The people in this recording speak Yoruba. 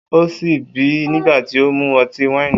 O si bì nigbati o mu ọti-waini